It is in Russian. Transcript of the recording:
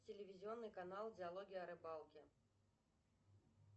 телевизионный канал диалоги о рыбалке